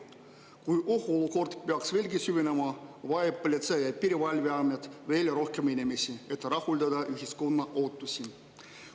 Kui ohuolukord peaks veelgi süvenema, vajab Politsei- ja Piirivalveamet veel rohkem inimesi, et rahuldada ühiskonna ootusi.